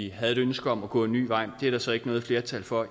havde et ønske om at gå en ny vej det er der så tilsyneladende ikke noget flertal for